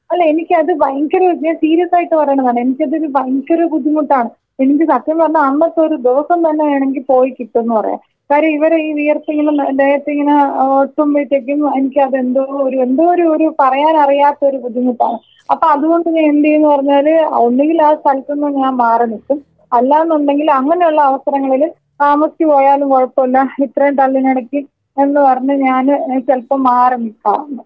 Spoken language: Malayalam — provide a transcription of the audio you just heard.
അല്ല എനിക്ക് അത് ഭയങ്കര ഞാൻ സീരിയസ് ആയിട്ട് പറയുന്നതാണ്. എനിക്ക് അതൊരു ഭയങ്കര ബുദ്ധിമുട്ടാണ്. എനിക്ക് സത്യം പറഞ്ഞാ അന്നത്തെ ഒരു ദിവസം തന്നെ വേണെങ്കി പോയി കിട്ടുമെന്ന് പറയാ. കാര്യം ഇവിടെ ഈ വിയർപ്പിങ്ങുന്നന്റെ ദേഹത്തിങ്ങനെ ഒട്ടുമ്പോഴത്തേക്കും എനിക്കത് എന്തോ ഒരു എന്തോ ഒരു ഒരു പറയാൻ അറിയാത്തൊരു ബുദ്ധിമുട്ടാണ്. അപ്പോ അതുകൊണ്ട് ഞാൻ എന്ത്യ്യും എന്ന് പറഞ്ഞാൽ ഒന്നെങ്കിൽ ആ സ്ഥലത്തുനിന്ന് ഞാൻ മാറി നിൽക്കും. അല്ലാന്നുണ്ടെങ്കിൽ അങ്ങനെയുള്ള അവസരങ്ങളിൽ താമസിച്ചു പോയാലും കുഴപ്പമില്ല ഇത്രയും തള്ളിനെടക്ക് എന്ന് പറഞ്ഞ് ഞാന് ചിലപ്പോ മാറി നിക്കാറുണ്ട്.